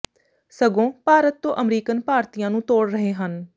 ਸਗੋਂ ਭਾਰਤ ਤੋਂ ਅਮਰੀਕਨ ਭਾਰਤੀਆਂ ਨੂੰ ਤੋੜ ਰਹੇ ਹਨ